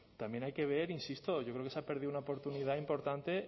también hay que ver insisto yo creo que se ha perdido una oportunidad importante